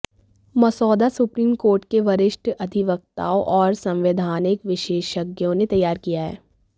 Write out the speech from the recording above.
मसौदा supreme court के वरिष्ठ अधिवक्ताओं और संवैधानिक विशेषज्ञों ने तैयार किया है